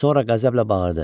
Sonra qəzəblə bağırdı: